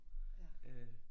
Ja